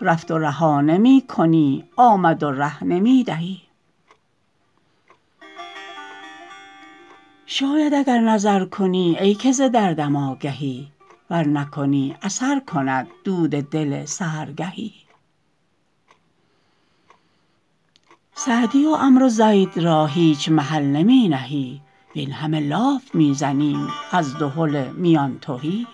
رفت و رها نمی کنی آمد و ره نمی دهی شاید اگر نظر کنی ای که ز دردم آگهی ور نکنی اثر کند دود دل سحرگهی سعدی و عمرو زید را هیچ محل نمی نهی وین همه لاف می زنیم از دهل میان تهی